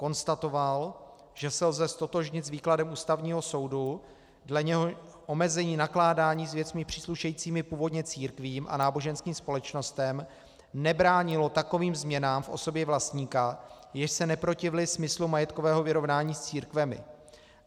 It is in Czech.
Konstatoval, že se lze ztotožnit s výkladem Ústavního soudu, dle něhož omezení nakládání s věcmi příslušejícími původně církvím a náboženským společnostem nebránilo takovým změnám v osobě vlastníka, jež se neprotivily smyslu majetkového vyrovnání s církvemi.